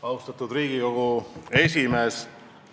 Austatud Riigikogu esimees!